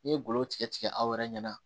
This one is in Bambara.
N'i ye golo tigɛ aw yɛrɛ ɲɛna